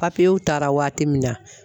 Papiyew taara waati min na